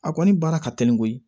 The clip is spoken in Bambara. A kɔni baara ka teli koyi